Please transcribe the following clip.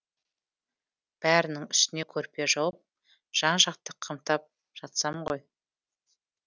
бәрінің үстіне көрпе жауып жан жағын қымтап жатсам ғой